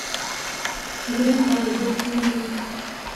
грендайзер набери